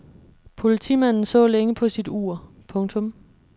Politimanden så længe på sit ur. punktum